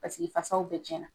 Paseke fasaw bɛɛ tiɲɛna.